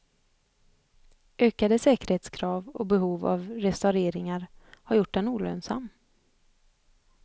Ökade säkerhetskrav och behov av restaureringar har gjort den olönsam.